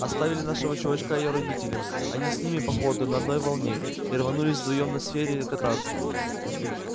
оставили нашего чувачка её родителям он с ними по ходу на одной волне и рванули вдвоём на серфе кататься